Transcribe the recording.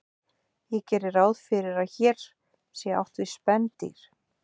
ég geri ráð fyrir að hér sé átt við spendýr